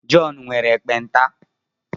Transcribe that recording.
Jọn nwere ekpenta